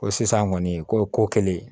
Ko sisan kɔni ko kelen